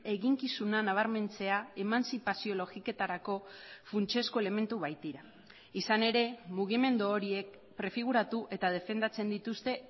eginkizuna nabarmentzea emantzipazio logiketarako funtsezko elementu baitira izan ere mugimendu horiek prefiguratu eta defendatzen dituzte